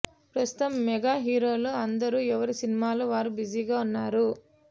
ప్రస్తుతం మెగా హీరోలు అందరూ ఎవరి సినిమాల్లో వారు బిజీగ ఉన్నారు